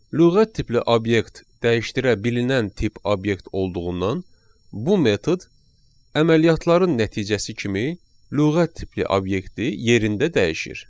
Lüğət tipli obyekt dəyişdirilə bililinən tip obyekt olduğundan bu metod əməliyyatların nəticəsi kimi lüğət tipli obyekti yerində dəyişir.